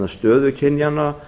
stöðu kynjanna